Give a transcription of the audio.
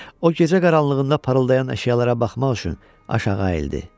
O, gecə qaranlığında parıldayan əşyalara baxmaq üçün aşağı əyildi.